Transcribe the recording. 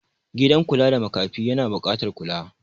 gidan kula da makafi yana bukatar kula